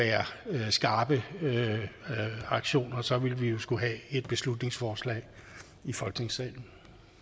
skarpe aktioner så ville vi jo skulle have et beslutningsforslag i folketingssalen